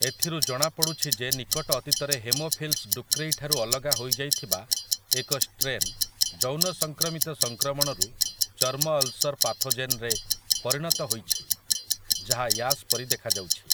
ଏଥିରୁ ଜଣାପଡ଼ୁଛି ଯେ ନିକଟ ଅତୀତରେ ହେମୋଫିଲସ୍ ଡୁକ୍ରେଇ ଠାରୁ ଅଲଗା ହୋଇଯାଇଥିବା ଏକ ଷ୍ଟ୍ରେନ୍ ଯୌନ ସଂକ୍ରମିତ ସଂକ୍ରମଣରୁ ଚର୍ମ ଅଲ୍ସର୍ ପାଥୋଜେନରେ ପରିଣତ ହୋଇଛି ଯାହା ୟାସ୍ ପରି ଦେଖାଯାଉଛି ।